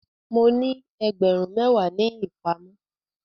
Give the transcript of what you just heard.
Mo ní ẹgbẹ̀rún méwàá ní ìpamọ́.